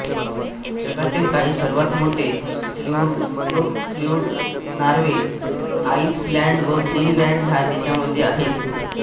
जगातील काही सर्वात मोठे फ्योर्ड नॉर्वे आइसलॅंड व ग्रीनलॅंड ह्या देशांमध्ये आहेत